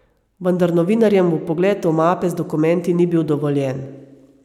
Vendar novinarjem vpogled v mape z dokumenti ni bil dovoljen.